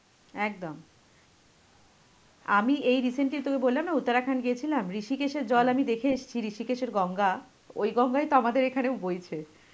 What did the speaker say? একদম আমি এই recently বললাম না উত্তরাখণ্ড গেছিলাম ঋশিকেষ এর জল আমি দেখে এসেছি ঋশিকেষ এর গঙ্গা, ওই গঙ্গাই তো আমাদের এখানে বইছে.